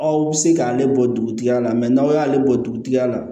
Aw bɛ se k'ale bɔ dugutigi la n'aw y'ale bɔ dugutigi la